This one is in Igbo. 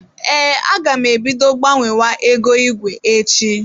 Ee, aga m e bido gbanwewa ego igwe echi.